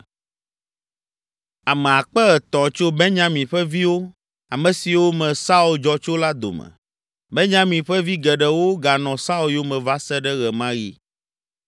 Ame akpe etɔ̃ (3,000) tso Benyamin ƒe viwo, ame siwo me Saul dzɔ tso la dome. Benyamin ƒe vi geɖewo ganɔ Saul yome va se ɖe ɣe ma ɣi.